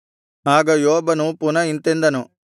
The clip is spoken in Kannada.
ಆಗ ಯೋಬನು ಪುನಃ ಇಂತೆಂದನು